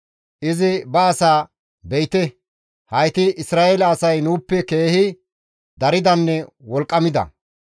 Izi ba asaa, «Be7ite; hayti Isra7eele asay nuuppe keehi daridanne wolqqamida.